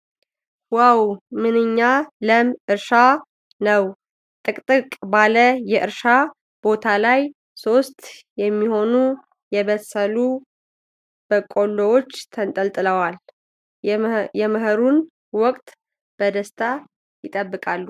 ዋው! ምንኛ ለም እርሻ ነው! ጥቅጥቅ ባለ የእርሻ ቦታ ላይ ሦስት የሚሆኑ የበሰሉ በቆሎዎች ተንጠልጥለዋል፤ የመኸሩን ወቅት በደስታ ይጠብቃሉ !